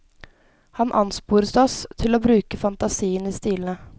Han ansporet oss til å bruke fantasien i stilene.